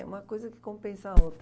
É uma coisa que compensa a outra